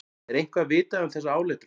Er eitthvað vitað um þessa áletrun?